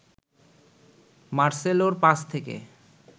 মার্সেলোর pass থেকে